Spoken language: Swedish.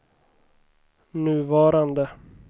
nuvarande